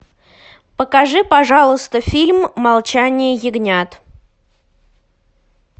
покажи пожалуйста фильм молчание ягнят